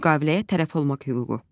Müqaviləyə tərəf olmaq hüququ.